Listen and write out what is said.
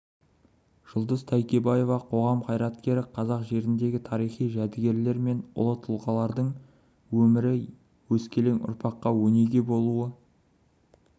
жұлдыз тайкебаева қоғам қайраткері қазақ жеріндегі тарихи жәдігерлер мен ұлы тұлғалардың өмірі өскелең ұрпаққа өнеге болуы